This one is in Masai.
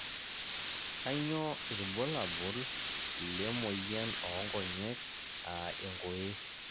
kainyioo irbulabol lle moyian oonkonyek aa enkoye.